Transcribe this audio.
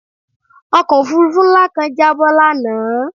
Ọkọ̀ òfurufú ńlá kan jábọ́ lánàá